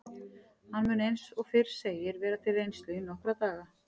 Hann mun eins og fyrr segir vera til reynslu í nokkra daga.